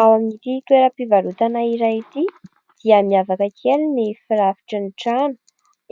Ao amin'ity toeram-pivarotana iray ity dia miavaka kely ny firafitry ny trano ;